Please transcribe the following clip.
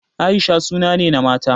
Aisha suna ne na mata.